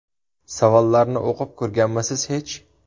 Savollarni o‘qib ko‘rganmisiz hech?